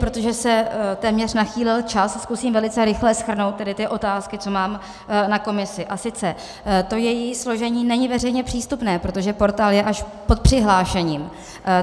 Protože se téměř nachýlil čas, zkusím velice rychle shrnout tedy ty otázky, co mám na komisi, a sice: To její složení není veřejně přístupné, protože portál je až pod přihlášením.